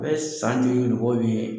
U bɛ san jogi ni mɔgɔ min ye